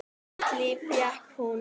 Og nýtt líf fékk hún.